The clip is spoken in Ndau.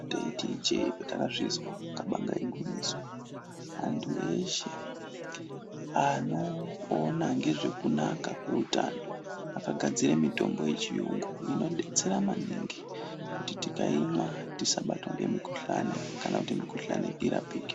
Taiti ijee patakazvizwa kabanga igwinyiso antu eshe anopona ngezve kunaka kweutano akagadzira mitombo yechiyungu inodetsera maningi kuti tikaimwa tisabatwa ngemikuhlani kana kuti mikuhlani irapike.